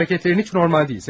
Hərəkətlərin heç normal deyil.